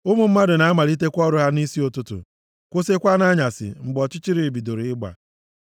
Ụmụ mmadụ na-amalitekwa ọrụ ha nʼisi ụtụtụ, kwụsịkwa nʼanyasị mgbe ọchịchịrị bidoro ịgba.